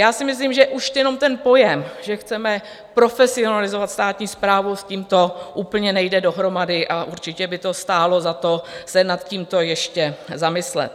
Já si myslím, že už jenom ten pojem, že chceme profesionalizovat státní správu, s tímto úplně nejde dohromady, a určitě by to stálo za to se nad tímto ještě zamyslet.